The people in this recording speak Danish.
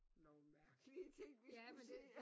Nogle mærkelige ting vi skulle sige